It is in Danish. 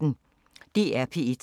DR P1